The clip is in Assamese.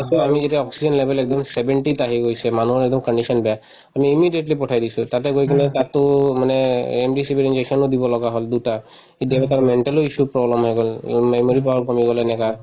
তাৰপিছত আমি যেতিয়া oxygen level একদম seventy ত আহি গৈছে মানুহ condition বেয়া আমি immediately পঠাই দিছো তাতে গৈ কিনে তাতো মানে remdesivir injection ও দিব লগা হল দুটা কেতিয়াবা mental ও issue ৰ problem হৈ গল এই memory power কমি গল এনেকুৱা